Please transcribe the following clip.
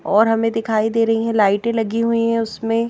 और हमें दिखाई दे रही हैं लाइटें लगी हुई हैं उसमें।